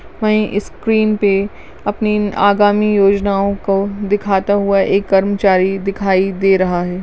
वहीं स्क्रीन पे अपनी आगामी योजनाओ को दिखाता हुआ एक कर्मचारी दिखाई दे रहा है।